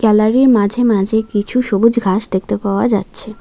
Gallery মাঝে মাঝে কিছু সবুজ ঘাস দেখতে পাওয়া যাচ্ছে।